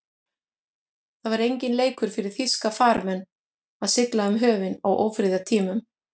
Það var enginn leikur fyrir þýska farmenn að sigla um höfin á ófriðartímum.